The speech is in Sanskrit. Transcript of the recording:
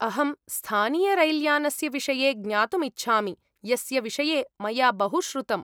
अहं स्थानीयरैल्यानस्य विषये ज्ञातुम् इच्छामि, यस्य विषये मया बहु श्रुतम्।